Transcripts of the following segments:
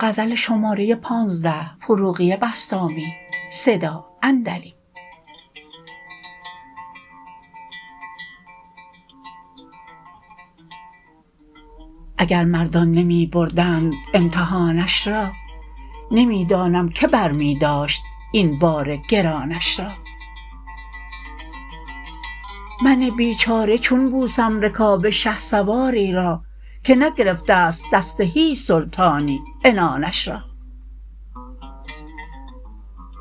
اگر مردان نمی بردند امتحانش را نمی دانم که بر می داشت این بار گرانش را من بی چاره چون بوسم رکاب شه سواری را که نگرفته ست دست هیچ سلطانی عنانش را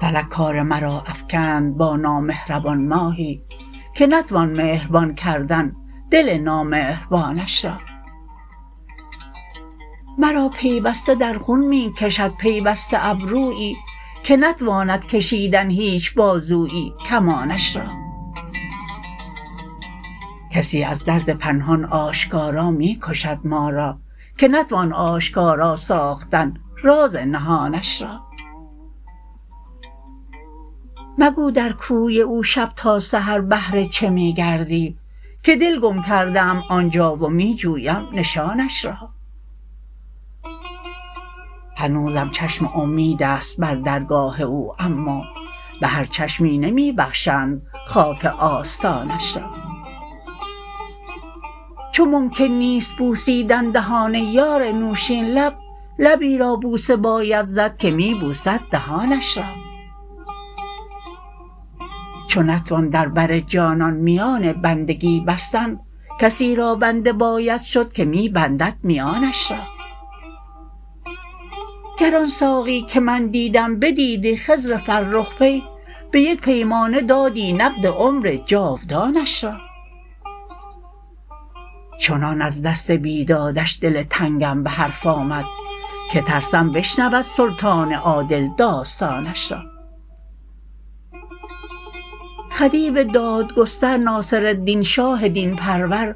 فلک کار مرا افکند با نامهربان ماهی که نتوان مهربان کردن دل نامهربانش را مرا پیوسته در خون می کشد پیوسته ابرویی که نتواند کشیدن هیچ بازویی کمانش را کسی از درد پنهان آشکارا می کشد ما را که نتوان آشکارا ساختن راز نهانش را مگو در کوی او شب تا سحر بهر چه می گردی که دل گم کرده ام آنجا و می جویم نشانش را هنوزم چشم امید است بر درگاه او اما به هر چشمی نمی بخشند خاک آستانش را چو ممکن نیست بوسیدن دهان یار نوشین لب لبی را بوسه باید زد که می بوسد دهانش را چو نتوان در بر جانان میان بندگی بستن کسی را بنده باید شد که می بندد میانش را گر آن ساقی که من دیدم بدیدی خضر فرخ پی به یک پیمانه دادی نقد عمر جاودانش را چنان از دست بیدادش دل تنگم به حرف آمد که ترسم بشنود سلطان عادل داستانش را خدیو دادگستر ناصرالدین شاه دین پرور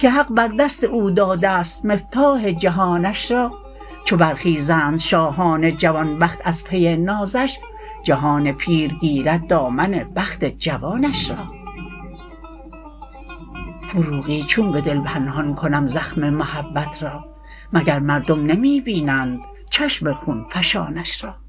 که حق بر دست او داده ست مفتاح جهانش را چو برخیزند شاهان جوان بخت از پی نازش جهان پیر گیرد دامن بخت جوانش را فروغی چون به دل پنهان کنم زخم محبت را مگر مردم نمی بینند چشم خون فشانش را